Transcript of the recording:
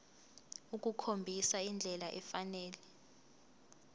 ukukhombisa indlela efanele